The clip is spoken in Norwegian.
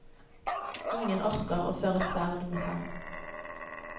Ingen orker å føre sverd mot ham.